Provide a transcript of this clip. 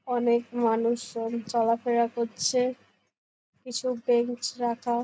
অনেক মানুষজন চলাফেরা করছে কিছু বেঞ্চ রাখা।